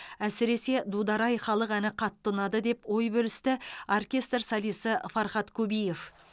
әсіресе дудар ай халық әні қатты ұнады деп ой бөлісті оркестр солисі фархат кубиев